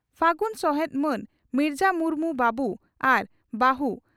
᱾ᱯᱷᱟᱹᱜᱩᱱ ᱥᱚᱦᱮᱛ ᱢᱟᱹᱱ ᱢᱤᱨᱡᱟᱹ ᱢᱩᱨᱢᱩ ᱵᱟᱹᱵᱩ ᱟᱨ ᱵᱟᱹᱦᱩ